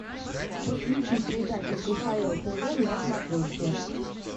подключи передачу кхл тв на смотрешке